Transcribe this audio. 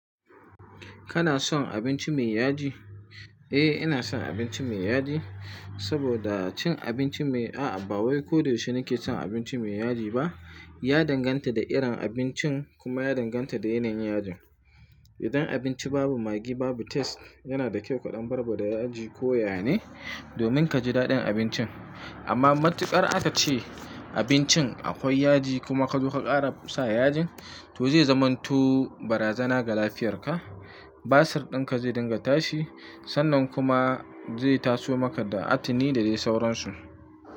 Kana son abinci mai yaji? Eh ina son abinci mai yaji, saboda cin abinci mai a ba wai ko da yaushe ne ke cin abinci mai yaji ba. Ya danganta da irin abincin kuma ya danganta da yanayin yajin. Idan abinci babu maggi babu taste yana da kyau ka ɗan barba da yaji ko yayane, domin ka ji daɗin abincin. Amma matuƙar aka ce abincin akwai yaji kuma ka zo ka ƙara sa yajin to zai zamanto barazana ga lafiyarka. Basir ɗin ka zai dinga tashi sannan kuma zai taso maka da atini da dai sauransu.